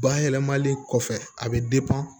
Bayɛlɛmali kɔfɛ a bɛ